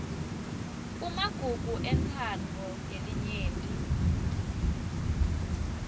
kumagugu entsandvo yelinyenti